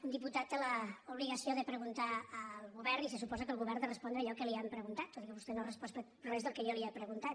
un diputat té l’obligació de preguntar al govern i se suposa que el govern de respondre allò que li han preguntat tot i que vostè no ha respost res del que jo li he preguntat